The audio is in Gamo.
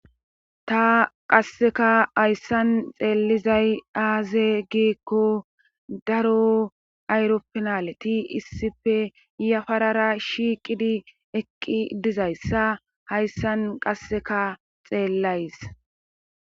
Ta qasseka hayssan xeelizay aaze giikko daro ayropinaleti issife yafarara shiiqidi eqqi dizayssa hayssan qasseka xeellays